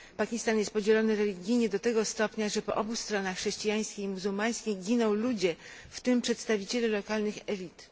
Pakistan jest podzielony religijnie do tego stopnia, że po obu stronach chrześcijańskiej i muzułmańskiej giną ludzie, w tym przedstawiciele lokalnych elit.